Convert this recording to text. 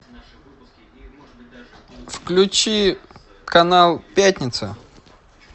включи канал пятница